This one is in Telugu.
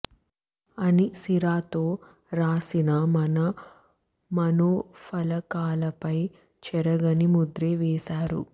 అని సిరా తో వ్రాసినా మన మనోఫలకాలపై చెరగని ముద్రే వేశారు